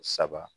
Saba